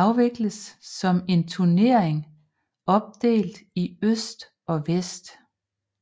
afvikles som en turnering opdelt i øst og vest